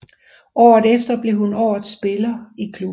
Året efter blev hun årets spiller i klubben